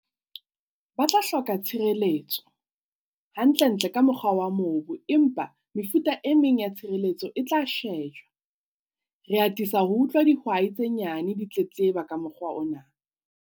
Ba tla hloka tshireletso, hantlentle ka mokgwa wa mobu empa mefuta e meng ya tshireletso e tla shejwa. Re atisa ho utlwa dihwai tse nyane di tletleba ka mokgwa ona.